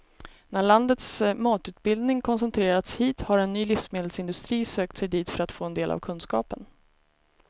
När landets matutbildning koncentrerats hit har en ny livsmedelsindustri sökt sig dit för att få del av kunskapen.